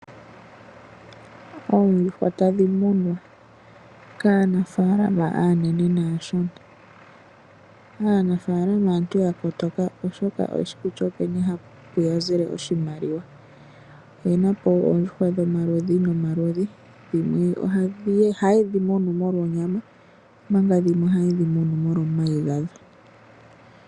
Oondjuhwa tadhi munwa kaanafaalama aanene naashona. Aanafaalama aantu ya kotoka oshoka oye shi kutya openi hapu ya zile oshimaliwa. Oye na po oondjuhwa dhomaludhi nomaludhi. Dhimwe ohaye dhi munu molwa onyama, omanga dhimwe ohaye dhi munu molwa omayi gadho.